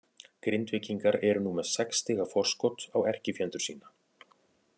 Grindvíkingar eru nú með sex stiga forskot á erkifjendur sína.